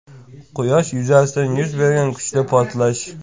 Quyosh yuzasida yuz bergan kuchli portlash.